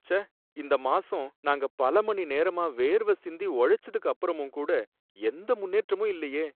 ச்சே! இந்த மாசம் நாங்க பல மணிநேரமா வேர்வ சிந்தி உழைச்சதுக்கு அப்பறமும் கூட, எந்த முன்னேற்றமும் இல்லையே!